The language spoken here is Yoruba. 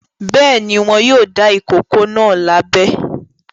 Bẹ́ẹ̀ ni, wọn yóò dá ìkókó náà lábẹ.